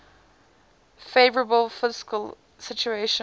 favourable fiscal situation